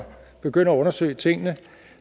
begynde at undersøge tingene